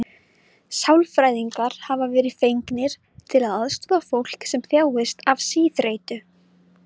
Sálfræðingar hafa verið fengnir til að aðstoða fólk sem þjáist af síþreytu.